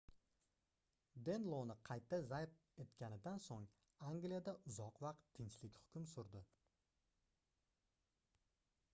denloni qayta zabt etganidan soʻng angliyada uzoq vaqt tinchlik hukm surdi